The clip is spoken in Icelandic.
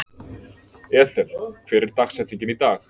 Ethel, hver er dagsetningin í dag?